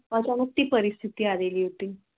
अच्छा मग ती परिस्थिती आलेली होती